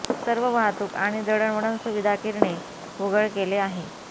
सर्व वाहतूक आणि दळणवळण सुविधा किरणे उघड केले आहे